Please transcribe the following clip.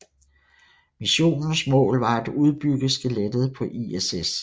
Missionens mål var at udbygge skelettet på ISS